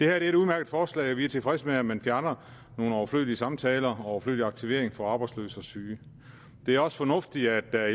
er et udmærket forslag vi er tilfredse med at man fjerner nogle overflødige samtaler og overflødig aktivering for arbejdsløse og syge det er også fornuftigt at